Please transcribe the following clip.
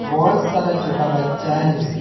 बहुत सारा छोटा बच्चा है।